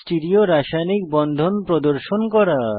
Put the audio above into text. stereo রাসায়নিক বন্ধন প্রদর্শন করা